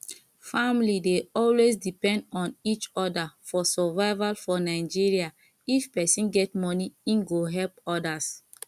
family dey always depend on each oda for survival for nigeria if person get money im go help odas